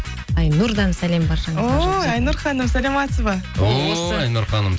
айнұрдан сәлем баршаңызға о айнұр ханым саламатсыз ба о айнұр ханым